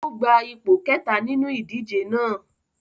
O gba ipo kẹta ninu idije náa